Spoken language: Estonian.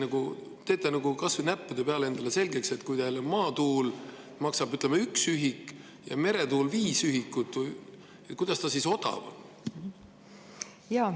Äkki te teete kas või näppude peal endale selgeks, et kui teil maatuul maksab ühe ühiku ja meretuul viis ühikut, kuidas ta siis odav on?